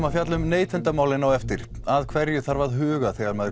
að fjalla um neytendamálin á eftir að hverju þarf að huga þegar maður